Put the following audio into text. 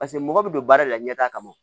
Paseke mɔgɔ bɛ don baara la ɲɛtaa kama